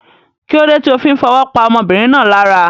Kílódé ti o fí n fowó pa ọmọbìnrin náà lára